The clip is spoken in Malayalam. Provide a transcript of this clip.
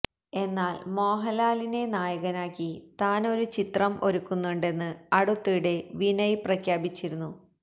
എന്നാല് മോഹന്ലാലിനെ നായകനാക്കി താന് ഒരു ചിത്രം ഒരുക്കുന്നുണ്ടെന്ന് അടുത്തിടെ വിനയന് പ്രഖ്യാപിച്ചിരുന്നു